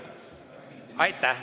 Aitäh!